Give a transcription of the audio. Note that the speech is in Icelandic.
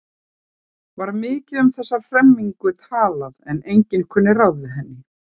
Var mikið um þessa hremmingu talað en enginn kunni ráð við henni.